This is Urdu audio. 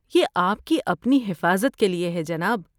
یہ آپ کی اپنی حفاظت کے لیے ہے جناب۔